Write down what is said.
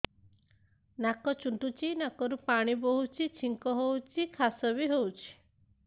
ନାକ ଚୁଣ୍ଟୁଚି ନାକରୁ ପାଣି ବହୁଛି ଛିଙ୍କ ହଉଚି ଖାସ ବି ହଉଚି